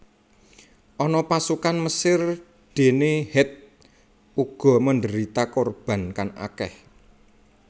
Ana pasukan Mesir dene Het uga menderita korban kang akeh